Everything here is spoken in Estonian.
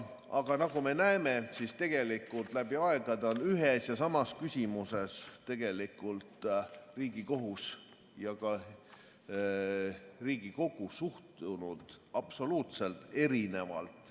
Aga nagu me näeme, tegelikult on läbi aegade ühesse ja samasse küsimusse Riigikohus ja Riigikogu suhtunud absoluutselt erinevalt.